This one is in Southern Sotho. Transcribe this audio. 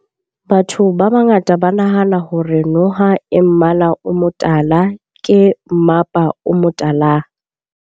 Batho ba bangata ba nahana hore noha e mmala o motala ke mapa o motala.